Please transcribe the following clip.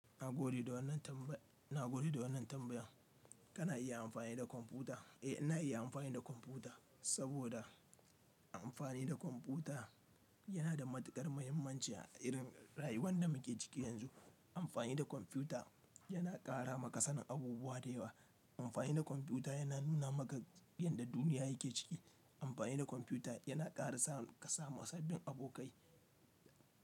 Na gode da wannan tambaya, na gode da wannan tambaya. Kana iya amfani da kwamfuta, eh ina iya amfani da kwamfuta saboda amfani da kwamfuta yana da matuƙar muhimmanci a irin rayuwar da muke ciki yanzu. Amfani da kwamfuta yana ƙara maka sanin abubuwa da yawa. Amfani da kwamfuta yana nuna maka yadda duniya yake ciki. Amfani da kwamfuta yana ƙara sa ka samu sabbin abokai.